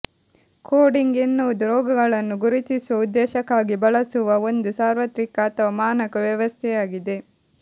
coding ಎನ್ನುವುದು ರೋಗಗಳನ್ನು ಗುರುತಿಸುವ ಉದ್ದೇಶಕ್ಕಾಗಿ ಬಳಸುವ ಒಂದು ಸಾರ್ವತ್ರಿಕ ಅಥವಾ ಮಾನಕ ವ್ಯವಸ್ಥೆಯಾಗಿದೆ